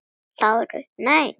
LÁRUS: Nei!